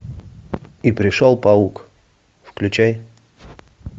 и пришел паук включай